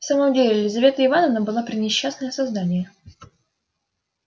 в самом деле лизавета ивановна была пренесчастное создание